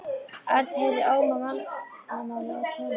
Örn heyrði óm af mannamáli og tónlist.